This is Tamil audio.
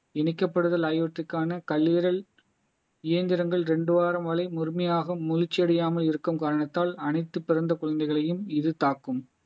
இணைக்கப்படுதல் ஆகியவற்றுக்கான கல்லீரல் இயந்திரங்கள் ரெண்டு வாரம் வரை முழுமையாக முழுச்சி அடையாமல் இருக்கும் காரணத்தால் அனைத்து பிறந்த குழந்தைகளையும் இது தாக்கும்